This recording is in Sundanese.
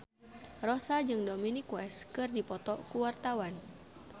Rossa jeung Dominic West keur dipoto ku wartawan